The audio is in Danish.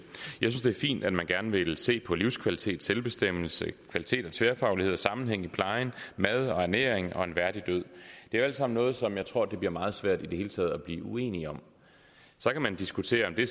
er fint at man gerne vil se på livskvalitet selvbestemmelse kvalitet af tværfaglighed og sammenhæng i pleje mad og ernæring og en værdig død det er alt sammen noget som jeg tror det bliver meget svært i det hele taget at blive uenige om så kan man diskutere om det